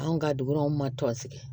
Anw ka dugu an ma tɔn sigi